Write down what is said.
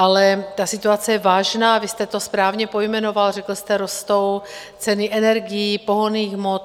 Ale ta situace je vážná, vy jste to správně pojmenoval, řekl jste: rostou ceny energií, pohonných hmot.